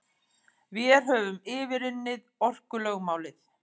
Vér höfum yfirunnið orkulögmálið.